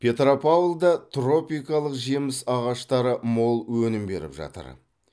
петропавлда тропикалық жеміс ағаштары мол өнім беріп жатыр